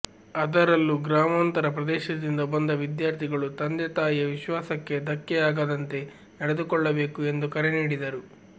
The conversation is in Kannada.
ಅದರಲ್ಲೂ ಗ್ರಾಮಾಂತರ ಪ್ರದೇಶದಿಂದ ಬಂದ ವಿದ್ಯಾರ್ಥಿಗಳು ತಂದೆ ತಾಯಿಯ ವಿಶ್ವಾಸಕ್ಕೆ ಧಕ್ಕೆಯಾಗದಂತೆ ನಡೆದುಕೊಳ್ಳಬೇಕು ಎಂದು ಕರೆ ನೀಡಿದರು